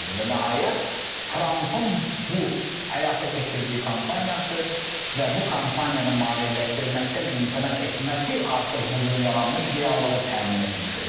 Və nəhayət Trampın bu həyata keçirdiyi kampaniyası və bu kampaniyanı maliyyələşdirməkdən imtina etməsi artıq bu gün yaranmış reallığı təmin etmiş oldu.